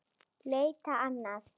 Leita annað?